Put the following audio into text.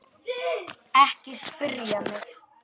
Ekki spyrja mig.